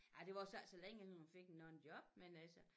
Ej det varede så ikke så længe inden hun fik nogen job